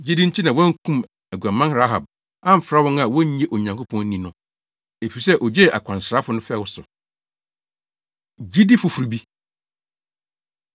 Gyidi nti na wɔankum aguaman Rahab amfra wɔn a wonnye Onyankopɔn nni no, efisɛ ogyee akwansrafo no fɛw so. Gyidi Foforo Bi